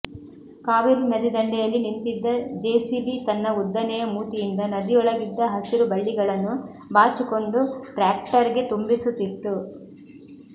ಕಾವೇರಿ ನದಿ ದಂಡೆಯಲ್ಲಿ ನಿಂತಿದ್ದ ಜೆಸಿಬಿ ತನ್ನ ಉದ್ದನೆಯ ಮೂತಿಯಿಂದ ನದಿಯೊಳಗಿದ್ದ ಹಸಿರು ಬಳ್ಳಿಗಳನ್ನು ಬಾಚಿಕೊಂಡು ಟ್ರ್ಯಾಕ್ಟರ್ಗೆ ತುಂಬಿಸುತ್ತಿತ್ತು